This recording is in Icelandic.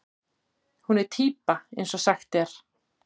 Hún er týpa eins og sagt er.